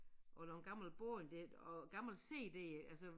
Og der en gammel bog dér og gammel cd altså